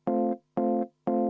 selle eest ka vabandust palusin.